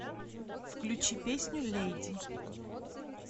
включи песню леди